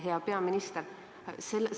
Hea peaminister!